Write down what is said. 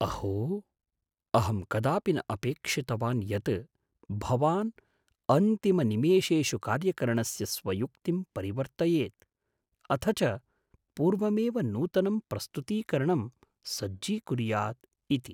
अहो! अहं कदापि न अपेक्षितवान् यत् भवान् अन्तिमनिमेषेषु कार्यकरणस्य स्वयुक्तिं परिवर्तयेत्, अथ च पूर्वमेव नूतनं प्रस्तुतीकरणं सज्जीकुर्याद् इति।